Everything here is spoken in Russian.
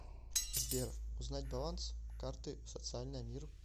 сбер узнать баланс карты социальная мир